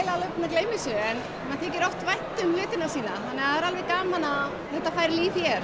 gleyma þessu en þykir oft vænt um hlutina sína það er alveg gaman að þetta fær líf hér